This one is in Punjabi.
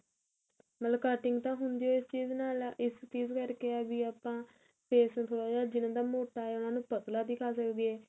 ਮਤਲਬ cutting ਤਾਂ ਹੁੰਦੀ ਓ ਇਸ ਚੀਜ ਨਾਲ ਏ ਇਸ ਚੀਜ ਕਰਕੇ ਏ ਵੀ ਆਪਾਂ face ਥੋੜਾ ਜਿਹਨਾ ਦਾ ਮੋਟਾ ਆ ਉਹਨਾ ਨੂੰ ਪਤਲਾ ਦਿੱਖਾ ਸਕੀਏ